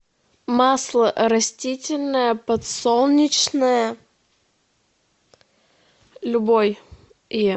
масло растительное подсолнечное любое